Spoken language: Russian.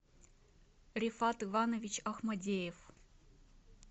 рифат иванович ахмадеев